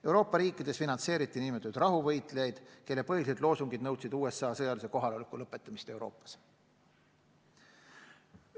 Euroopa riikides finantseeriti nn rahuvõitlejaid, kelle põhilised loosungid nõudsid USA sõjalise kohaloleku lõpetamist Euroopas.